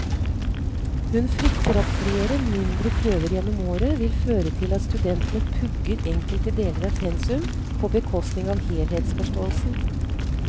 Hun frykter at flere, mindre prøver gjennom året vil føre til at studentene pugger enkelte deler av pensum på bekostning av helhetsforståelsen.